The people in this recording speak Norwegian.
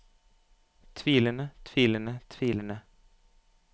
tvilende tvilende tvilende